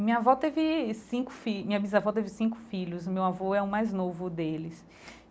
Minha avó teve cinco filho minha bisavó teve cinco filhos, meu avô é o mais novo deles.